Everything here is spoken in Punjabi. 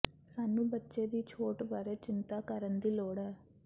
ਸਾਨੂੰ ਬੱਚੇ ਦੀ ਛੋਟ ਬਾਰੇ ਚਿੰਤਾ ਕਰਨ ਦੀ ਲੋੜ ਹੈ